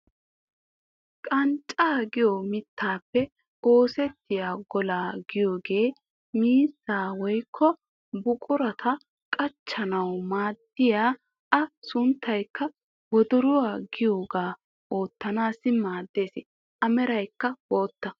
Qanccaa giyoo mittaappe osettiyaa golaa giyoogee miizzaa woykko buquraa qachchanawu maaddiyaa a sunttaykka wodoruwaa giyoogaa oottanawu maaddees. a meraykka bootta.